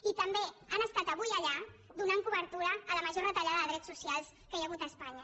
i també han estat avui allà donant cobertura a la major retallada de drets socials que hi ha hagut a espanya